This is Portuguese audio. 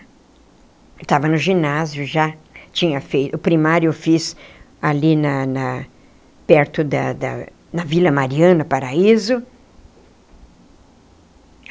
Eu estava no ginásio, já tinha feito... o primário eu fiz ali na na... perto da da... na Vila Mariana, Paraíso.